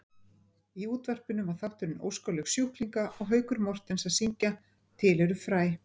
Í útvarpinu var þátturinn Óskalög sjúklinga og Haukur Mortens að syngja Til eru fræ.